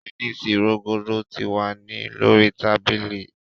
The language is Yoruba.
Tẹnisi rogodo ti wa ni lori tabili